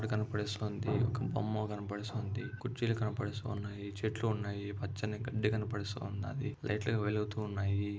బొమ్మ కనపడిస్తుంది. ఒక బొమ్మ కనిపిస్తుంది. కుర్చీలు కనపడిస్తున్నాయి. చెట్లు ఉన్నాయి పచ్చని గాడి కనపడిస్తుంది. లైటింగ్ వెలుగుతున్నాయి.